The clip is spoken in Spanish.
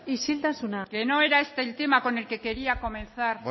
isiltasuna que no era este el tema con el que quería comenzar